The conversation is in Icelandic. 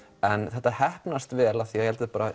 þetta heppnast vel því ég held þau